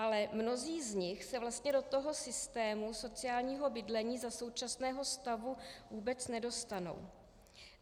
Ale mnozí z nich se vlastně do toho systému sociálního bydlení za současného stavu vůbec nedostanou.